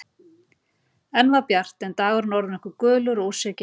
Enn var bjart en dagurinn orðinn okkurgulur og úr sér genginn.